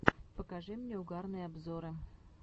покажи мне угарные обзоры